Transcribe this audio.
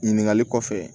Ɲininkali kɔfɛ